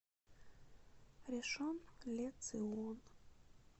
ришон ле цион